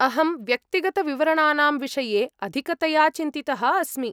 अहं व्यक्तिगतविवरणानां विषये अधिकतया चिन्तितः अस्मि।